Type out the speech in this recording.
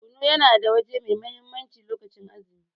Kunu yana da waje mai mahimmanci lokacin azumi.